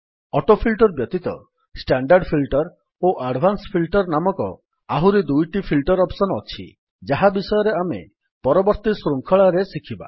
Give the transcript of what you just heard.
autofilter ବ୍ୟତୀତ standard filter ଓ advance filter ନାମକ ଆହୁରି ଦୁଇଟି ଫିଲ୍ଟର୍ ଅପ୍ସନ୍ ଅଛି ଯାହା ବିଷୟରେ ଆମେ ପରବର୍ତ୍ତୀ ଶୃଙ୍ଖଳାରେ ଶିଖିବା